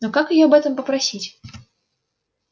но как её об этом попросить